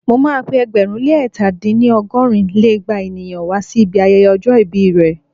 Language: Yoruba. Mo ma pé ẹgbẹ̀rún lé ẹ̀ta dín ní- ọgọ́rùn lé igba ènìyàn wá sí ibi ayẹyẹ ọjọ́ ìbí rẹ̀